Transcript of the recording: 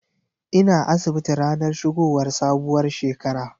Ina asibiti ranar shigowar sabuwar shekara.